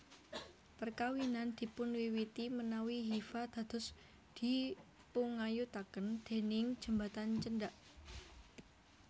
Perkawinan dipunwiwiti menawi hifa dados dipungayutaken déning jembatan cendhak